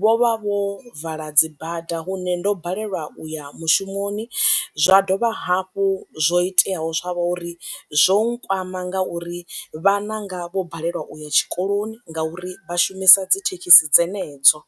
vho vha vho vala dzibada hune ndo balelwa uya mushumoni zwa dovha hafhu zwo iteaho zwavho uri zwo nkwama nga uri vhananga vho balelwa uya tshikoloni ngauri vha shumisa dzi thekhisi dzenedzo.